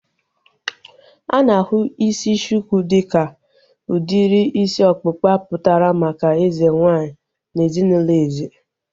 A na-ahụ isi shuku dịka udiri isi ọkpụkpa pụtara maka eze nwaanyị na ezinaụlọ eze